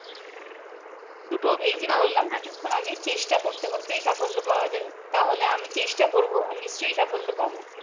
এইযে বললাম কিছুক্ষন আগে চেষ্টা করতে করতেই সাফল্য পাওয়া যায় আমি চেষ্টা করবো নিশ্চই সাফল্য পাবো